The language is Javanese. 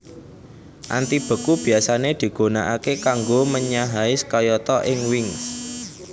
Antibeku biasane digunakake kanggo menyahais kayata ing wings